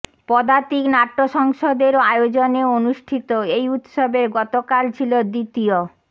পদাতিক নাট্য সংসদের আয়োজনে অনুষ্ঠিত এই উৎসবের গতকাল ছিল দ্বিতীয়